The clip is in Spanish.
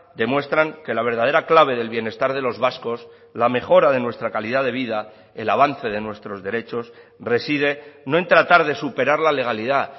demuestran que la verdadera clave del bienestar de los vascos la mejora de nuestra calidad de vida el avance de nuestros derechos reside no en tratar de superar la legalidad